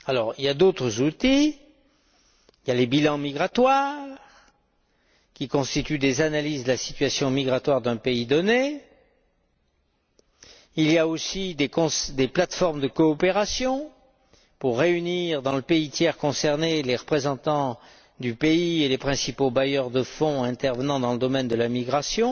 Il existe d'autres outils les bilans migratoires, qui constituent des analyses de la situation migratoire d'un pays donné, les plates formes de coopération pour réunir, dans le pays tiers concerné, les représentants du pays et les principaux bailleurs de fonds intervenant dans le domaine de la migration.